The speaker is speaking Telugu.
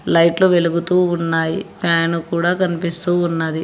లైట్లు వెలుగుతూ ఉన్నాయి ఫ్యాన్ కూడా కనిపిస్తూ ఉన్నది.